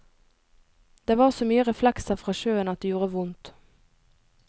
Det var så mye reflekser fra sjøen at det gjorde vondt.